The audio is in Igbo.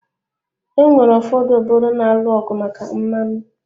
Onwere ụfọdụ obodo na-alụ ọgụ maka mmanụ